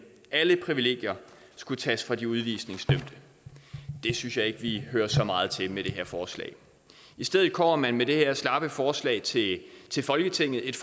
alle privilegier skulle tages fra de udvisningsdømte det synes jeg ikke at vi hører så meget til med det her forslag i stedet kommer man med det her slappe forslag til til folketinget et